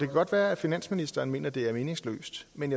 godt være at finansministeren mener at det er meningsløst men